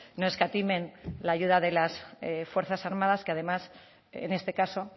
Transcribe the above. no escatimen la ayuda de las fuerzas armadas que además en este caso